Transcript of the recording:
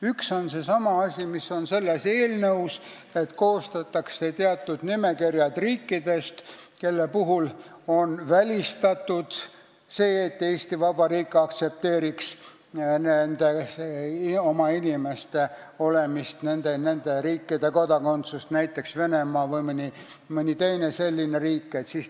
Üks on seesama asi, mis on selles eelnõus: koostatakse nimekirjad riikidest, kelle puhul on välistatud, et Eesti Vabariik aktsepteeriks oma inimeste olemist nende kodakondsuses, näiteks Venemaa või mõni teine selline riik.